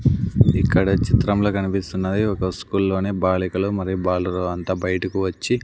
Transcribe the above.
ఇక్కడ చిత్రంలో కనిపిస్తున్నది ఒక స్కూల్లోనే బాలికలు మరియు బాలురు అంత బయటకు వచ్చి.